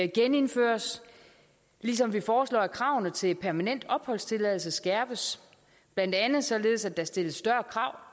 genindføres ligesom vi foreslår at kravene til permanent opholdstilladelse skærpes blandt andet således at der stilles større krav